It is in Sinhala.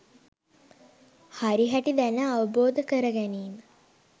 හරිහැටි දැන අවබෝධ කර ගැනීම